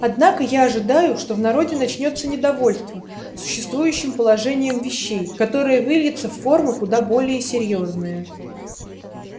однако я ожидаю что в народе начнётся недовольство существующим положением вещей которое выльется в формы куда более серьёзные